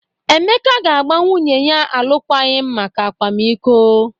Emeka ga-agba nwunye ya alụkwaghịm maka akwamiko.